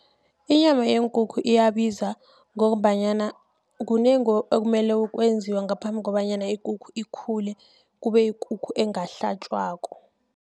Inyama yeenkukhu iyabiza, ngombanyana kunengi okumele kwenziwe ngaphambi, kobanyana ikukhu ikhule, kubeyikukhu engahlatjwako.